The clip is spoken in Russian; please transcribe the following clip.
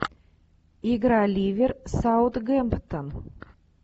игра ливер саутгемптон